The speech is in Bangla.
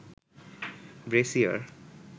ব্রেসিয়ার